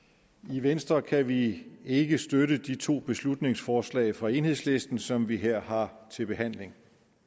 i venstre kan vi ikke støtte de to beslutningsforslag fra enhedslisten som vi her har til behandling